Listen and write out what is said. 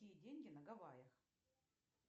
какие деньги на гавайях